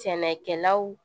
Sɛnɛkɛlaw